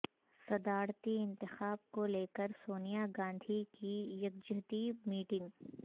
صدارتی انتخاب کو لیکر سونیا گاندھی کی یکجہتی میٹنگ